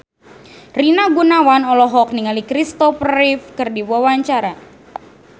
Rina Gunawan olohok ningali Christopher Reeve keur diwawancara